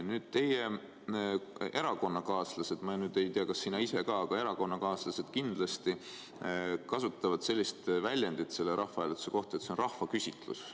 Nüüd, sinu erakonnakaaslased – ma ei tea, kas sina ise ka, aga sinu erakonnakaaslased kindlasti – kasutavad sellist väljendit selle rahvahääletuse kohta, et see on rahvaküsitlus.